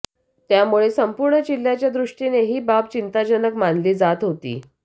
त्यामुळे संपूर्ण जिल्ह्याच्या दृष्टीने ही बाब चिंताजनक मानली जात होती